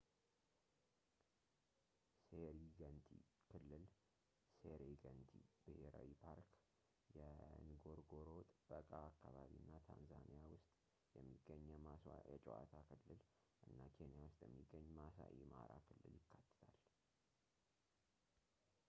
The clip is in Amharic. ሴሪገንቲ ክልል ሴሬገንቲ ብሔራዊ ፓርክ የንጎሮንጎሮ ጥበቃ አካባቢ እና ታንዛኒያ ውስጥ የሚገኝ የማስዋ የጨዋታ ክልል እና ኬንያ ውስጥ የሚገኝ ማሳኢ ማራ ክልል ይካትታል